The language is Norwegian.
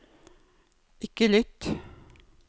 ikke lytt